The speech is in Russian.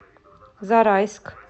зарайск